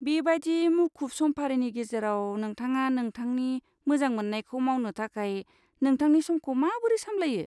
बेबादि मुखुब समफारिनि गेजेराव नोंथाङा नोंथांनि मोजां मोननायखौ मावनो थाखाय नोंथांनि समखौ माबोरै सामलायो?